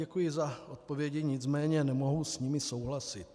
Děkuji za odpovědi, nicméně nemohu s nimi souhlasit.